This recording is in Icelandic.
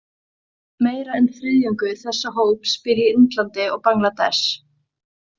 Meira en þriðjungur þessa hóps býr í Indlandi og Bangladesh.